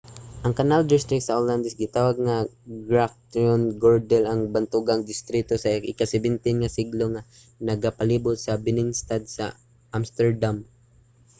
ang canal district sa olandes gitawag nga grachtengordel ang bantogang distrito sa ika-17 nga siglo nga nagapalibot sa binnenstad sa amsterdam